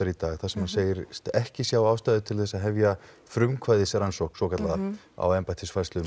í dag þar sem hann segist ekki sjá ástæðu til að hefja frumkvæðisrannsókn á